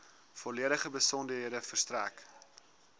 volledige besonderhede verstrek